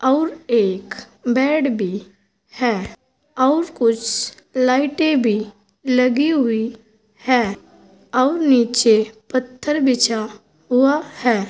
और एक बेड भी है और कुछ लाइटें भी लगी हुई हैं और नीचे पत्थर बिछा हुआ है।